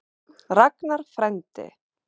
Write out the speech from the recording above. Ragnar frændi.